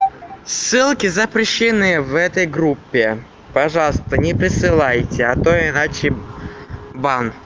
ссылки запрещены в этой группе пожалуйста не присылайте а то иначе бан